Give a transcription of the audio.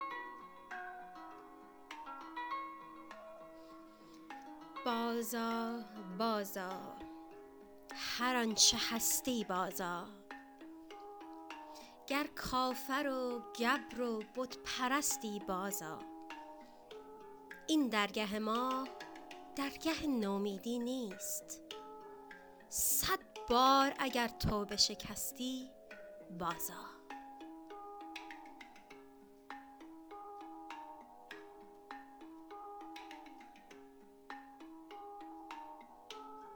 باز آ باز آ هر آنچه هستی باز آ گر کافر و گبر و بت پرستی باز آ این درگه ما درگه نومیدی نیست صد بار اگر توبه شکستی باز آ